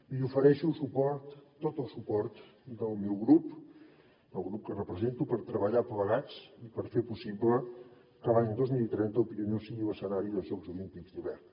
li ofereixo suport tot el suport del meu grup del grup que represento per treballar plegats i per fer possible que l’any dos mil trenta el pirineu sigui l’escenari dels jocs olímpics d’hivern